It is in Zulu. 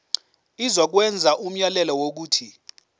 izokwenza umyalelo wokuthi